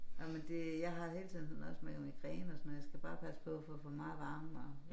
Jamen det jeg har hele tiden også med migræne og sådan noget jeg skal bare passe på at få for meget varme og